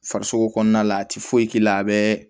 Farisoko kɔnɔna la a ti foyi k'i la a bɛ